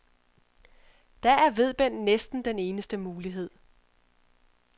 Da er vedbend næsten den eneste mulighed.